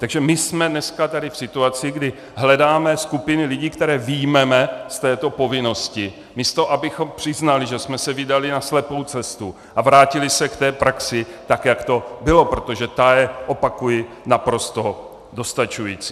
Takže my jsme dneska tady v situaci, kdy hledáme skupiny lidí, které vyjmeme z této povinnosti, místo abychom přiznali, že jsme se vydali na slepou cestu, a vrátili se k té praxi, tak jak to bylo, protože ta je, opakuji, naprosto dostačující.